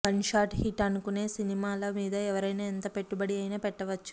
gunshot hit అనుకొనే సినిమాల మీద ఎవరైనా ఎంత పెట్టుబడి అయినా పెట్టవచ్చు